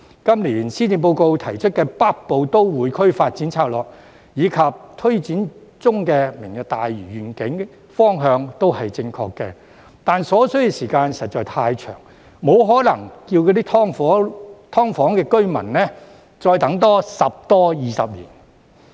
今年施政報告提出的《北部都會區發展策略》，以及推展中的"明日大嶼願景"，方向都正確，但所需的時間實在太長，沒可能要求"劏房"居民再多等十多二十年。